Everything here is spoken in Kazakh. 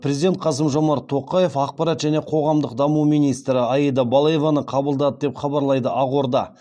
президент қасым жомарт тоқаев ақпарат және қоғамдық даму министрі аида балаеваны қабылдады деп хабарлайды ақорда